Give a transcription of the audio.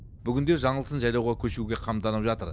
бүгінде жаңылсын жайлауға көшуге қамданып жатыр